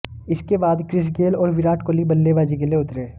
इसके बाद Chris Gayle और विराट कोहली बल्लेबाजी के लिए उतरे